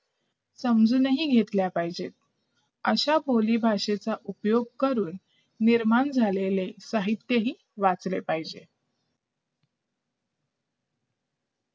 समजून घेतल्या पाहिजेत अशा बोली भाषेच्या उपयोग करून निर्माण झालेले साहित्य हे वाचले पाहिजेत